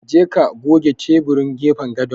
Ka je ka goge teburin gefen gadon.